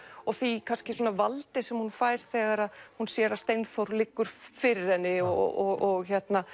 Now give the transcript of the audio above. og því valdi sem hún fær þegar hún sér að Steinþór liggur fyrir henni og